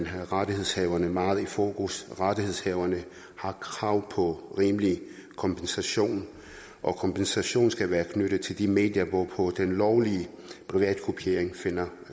har rettighedshaverne meget i fokus rettighedshaverne har krav på rimelig kompensation og kompensationen skal være knyttet til de medier hvorpå den lovlige privatkopiering finder